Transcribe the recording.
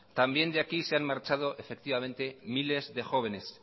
también de aquí se han marchado miles de jóvenes